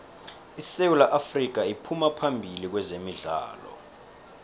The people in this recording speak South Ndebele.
isewu afrika iphuma phambili kwezemidlalo